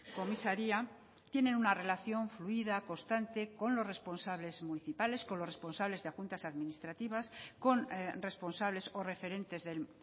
comisaria tienen una relación fluida constante con los responsables municipales con los responsables de juntas administrativas con responsables o referentes del